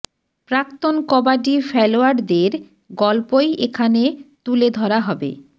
প্রাক্তন কবাডি ফেলোয়াড়ের গল্পই এখানে তুলে ধরা হবে